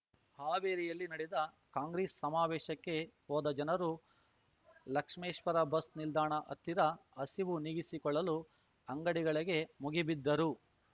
ಹಾವೇರಿಯಲ್ಲಿ ನಡೆದ ಕಾಂಗ್ರೆಸ್ ಸಮಾವೇಶಕ್ಕೆ ಹೋದ ಜನರು ಲಕ್ಷ್ಮೇಶ್ವರ ಬಸ್ ನಿಲ್ದಾಣ ಹತ್ತಿರ ಹಸಿವು ನೀಗಿಸಿಕೊಳ್ಳಲು ಅಂಗಡಿಗಳಿಗೆ ಮುಗಿಬಿದ್ದರು